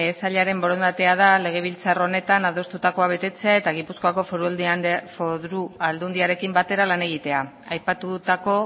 sailaren borondatea da legebiltzar gonetan adostutakoa betetzea eta gipuzkoako foru aldundiarekin batera lan egitea aipatutako